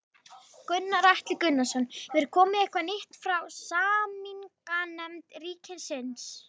Gunnar Atli Gunnarsson: Hefur komið eitthvað nýtt frá samninganefnd ríkisins?